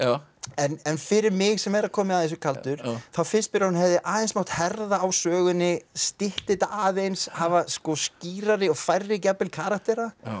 en fyrir mig sem er að koma að þessu kaldur þá finnst mér að hún hefði aðeins mátt herða á sögunni stytta þetta aðeins hafa skýrari og færri jafnvel karaktera